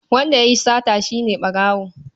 Wanda ya yi sata shi ne ɓarawo.